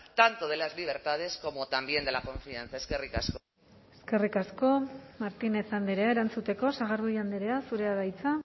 tanto de las libertades como también de la confianza eskerrik asko eskerrik asko martínez andrea erantzuteko sagardui andrea zurea da hitza